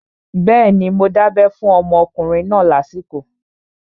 Bẹ́ẹ̀ni, mo dábẹ́ fún ọmọkùnrin náà lásìkò